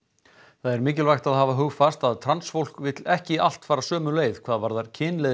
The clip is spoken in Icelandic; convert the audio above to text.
það er mikilvægt að hafa hugfast að transfólk vill ekki allt fara sömu leið hvað varðar